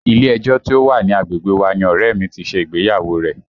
Ilé ẹjọ́ tí ó wà ní agbègbè wa ni ọ̀rẹ́ ẹ̀ mi ti ṣe ìgbéyàwó rẹ̀